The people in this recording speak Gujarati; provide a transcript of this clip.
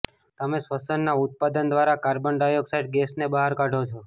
તમે શ્વસનના ઉત્પાદન દ્વારા કાર્બન ડાયોક્સાઈડ ગેસને બહાર કાઢો છો